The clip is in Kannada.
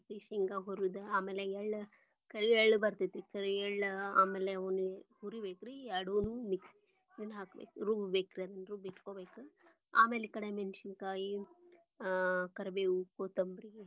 ಶೇಂಗಾ ಹುರದ ಆಮೇಲೆ ಎಳ್ಳ, ಕರಿ ಎಳ್ಳ ಬರ್ತೇತಿ ಕರಿ ಎಳ್ಳ ಆಮೇಲೆ ಅವ್ನ ಹುರಿ ಬೇಕರಿ ಯಡೂನು ಮಿ~ ಇದನ್ನ ಹಾಕ್ಬೇಕರಿ ರುಬ್ ಬೇಕರಿ ಅದನ್ನ ರುಬ್ಬಿ ಇಟ್ಕೊಬೇಕ ಆಮೇಲೆ ಈ ಕಡೆ ಮೆಣಸಿನಕಾಯಿ ಅಹ್ ಕರಿಬೇವು ಕೊತಂಬರಿ.